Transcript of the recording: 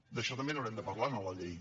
d’això també n’haurem de parlar en la llei